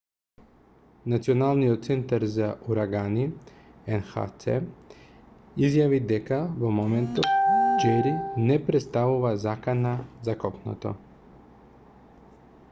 националниот центар за урагани nhc изјави дека во моментов џери не претставува закана за копното